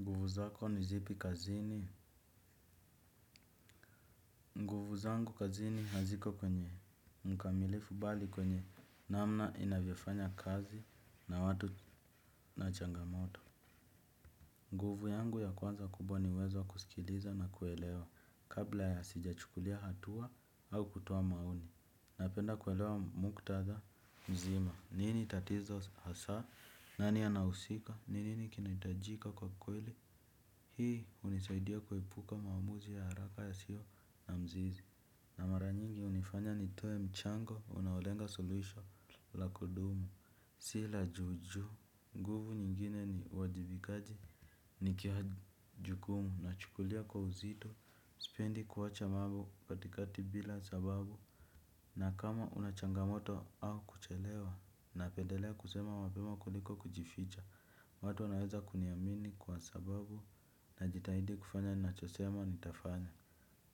Nguvu zako ni zipi kazini? Nguvu zangu kazini haziko kwenye mkamilifu bali kwenye namna inavyofanya kazi na watu na changamoto. Nguvu yangu ya kwanza kubwa ni uwezo wa kusikiliza na kuelewa kabla ya sijachukulia hatua au kutoa maoni. Napenda kuelewa mkutadha mzima, nini tatizo hasa, nani anahusika, ni nini kinahitajika kwa kweli, hii hunisaidia kuepuka maamuzi ya haraka yasio na mzizi. Na mara nyingi hunifanya nitoe mchango, unaolenga solution la kudumu, si la juu juu, nguvu nyingine ni uwajibikaji. Nikia jukumu, nachukulia kwa uzito, sipendi kuwacha mambo katikati bila sababu na kama una changamoto au kuchelewa napendelea kusema mapema kuliko kujificha. Watu wanaweza kuniamini kwa sababu najitahidi kufanya ninachosema nitafanya.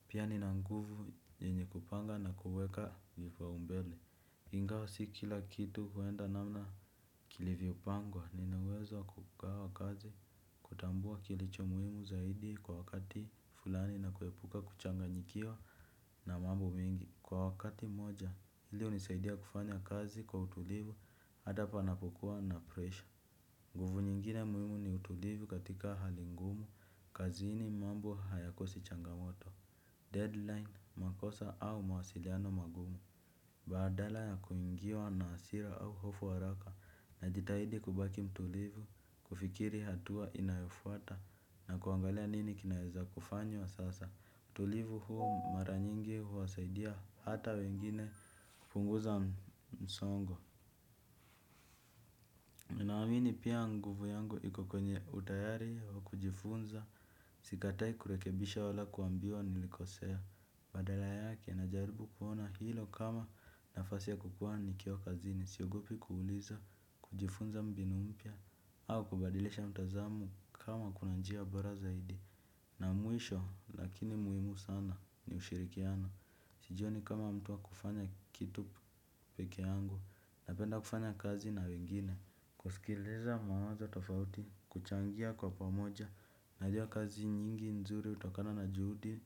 Pia nina nguvu yenye kupanga na kuweka vipaumbele. Ingawa si kila kitu huenda namna kilivyopangwa nina uwezo wa kugawa kazi. Kutambua kilicho muhimu zaidi kwa wakati fulani na kuepuka kuchanganyikiwa na mambo mengi. Kwa wakati moja hili hunisaidia kufanya kazi kwa utulivu hata panapokuwa na presha nguvu nyingine muhimu ni utulivu katika hali ngumu kazini mambo hayakosi changamoto Deadline makosa au mawasiliano magumu. Badala ya kuingiwa na hasira au hofu haraka. Najitahidi kubaki mtulivu kufikiri hatua inayofuata na kuangalia nini kinaeza kufanywa sasa utulivu huu mara nyingi huwasaidia hata wengine kupunguza msongo ninaamini pia nguvu yangu iko kwenye utayari wa kujifunza. Sikatai kurekebisha wala kuambiwa nilikosea. Badala yake najaribu kuona hilo kama nafasi ya kukuwa nikiwa kazini. Siogopi kuuliza kujifunza mbinu mpya. Au kubadilisha mtazamo kama kuna njia bora zaidi. Na mwisho lakini muhimu sana ni ushirikiano. Sijioni kama mtu wa kufanya kitu peke yangu, napenda kufanya kazi na wengine, kusikiliza mawazo tofauti, kuchangia kwa pamoja, najua kazi nyingi nzuri hutokana na juhudi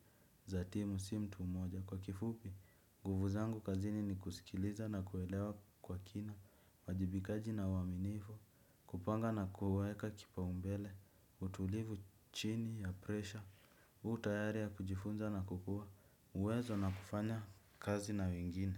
za timu si mtu moja. Kwa kifupi, nguvu zangu kazini ni kusikiliza na kuelewa kwa kina, uwajibikaji na uaminifu, kupanga na kuweka kipaumbele, utulivu chini ya presha, utayari ya kujifunza na kukua, uwezo na kufanya kazi na wengine.